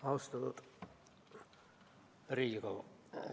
Austatud Riigikogu!